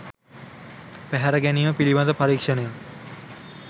පැහැරගැනීම පිළිබඳ පරීක්ෂණයක්